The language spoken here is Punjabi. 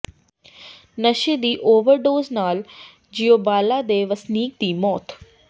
ਨਸ਼ੇ ਦੀ ਓਵਰਡੋਜ਼ ਨਾਲ ਜੀਓਬਾਲਾ ਦੇ ਵਸਨੀਕ ਦੀ ਮੌਤ